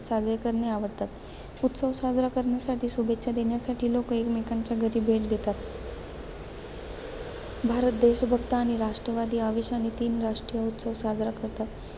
साजरे करणे आवडतात. उत्सव साजरा करण्यासाठी, शुभेच्छा देण्यासाठी, लोक एकमेकांच्या घरी भेट देतात. भारत देशभक्त आणि राष्ट्रवादी आवेशाने, तीन राष्ट्रीय उत्सव साजरा करतात.